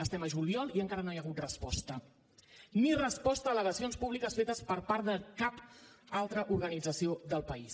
estem a juliol i encara no hi ha hagut resposta ni resposta a al·legacions públiques fetes per part de cap altra organització del país